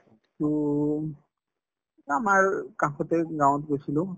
to উম আমাৰ কাষতে গাঁৱত গৈছিলো